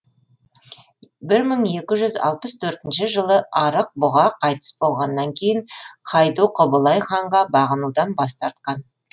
бір мың екі жүз алпыс төртінші жылы арық бұға қайтыс болғаннан кейін хайду құбылай ханға бағынудан бас тартқан